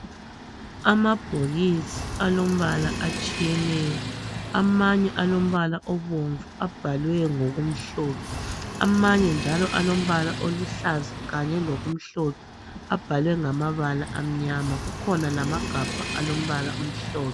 Amabhokisi alombala atshiyeneyo amanye alombala obomvu abhalwe ngokumhlophe amanye njalo alombala oluhlaza kanye lokumhlophe abhalwe ngamabala amnyama kukhona lamagabha alombala omhlophe.